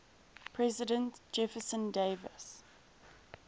president jefferson davis